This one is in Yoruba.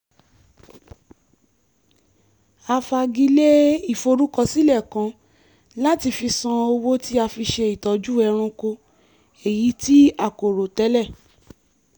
a fagilé ìforúkọsílẹ̀ kan láti fi san owó tí a fi ṣe ìtọ́jú ẹranko èyí tí a kò rò tẹ́lẹ̀